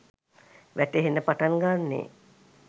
වැටහෙන්න පටන් ගන්නෙ.